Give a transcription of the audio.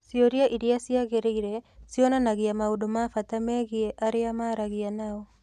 Ciũria iria ciagĩrĩire cionanagia maũndũ ma bata megiĩ arĩa maragia nao.